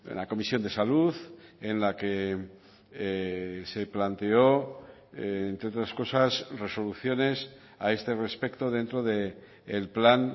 la comisión de salud en la que se planteó entre otras cosas resoluciones a este respecto dentro del plan